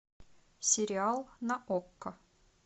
сериал на окко